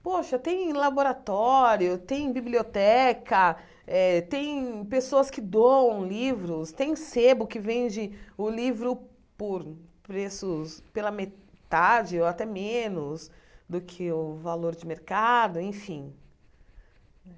Poxa, tem laboratório, tem biblioteca eh, tem pessoas que dão livros, tem sebo que vende o livro por preços pela metade ou até menos do que o valor de mercado, enfim.